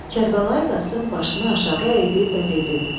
Kərbəlayı Qasım başını aşağı əydi və dedi: